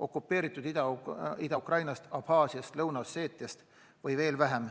Okupeeritud Ida-Ukrainast, Abhaasiast, Lõuna-Osseetiast või veel vähem